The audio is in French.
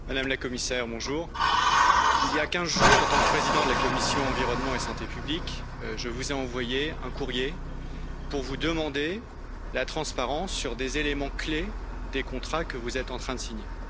Monsieur le Président, Madame la Commissaire, il y a deux semaines, en tant que président de la commission environnement et santé publique, je vous ai envoyé un courrier pour vous demander la transparence sur des éléments clés des contrats que vous êtes en train de signer.